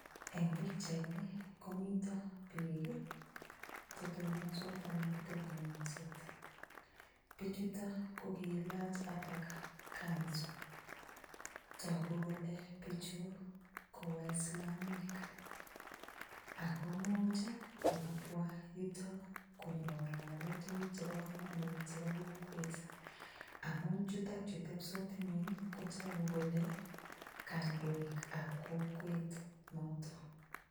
Eng' pikchaini komito biik chetonsot alak kotebing'wesot bichuto kokiilach alak kanzu toku kole bichu ko waislamiek ako muuch kokabwa yuto konyikong'alale tukuk chebo komonut chebo kokwet amun chutokchu tepisot ng'weny kotoku kole kandoikab kokwet noto